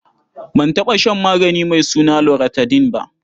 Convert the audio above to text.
Ban taɓa shan magani mai suna loratadin ba.